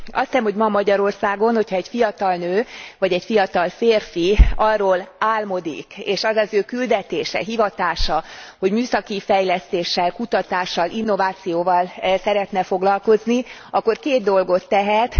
Azt hiszem, hogy ma Magyarországon, ha egy fiatal nő, vagy egy fiatal férfi arról álmodik, és az az ő küldetése, hivatása, hogy műszaki fejlesztéssel, kutatással, innovációval szeretne foglalkozni, akkor két dolgot tehet.